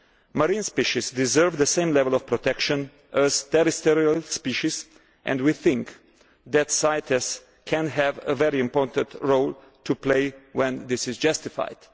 Marine species deserve the same level of protection as terrestrial species, and we think that CITES can have a very important role to play when this is justified.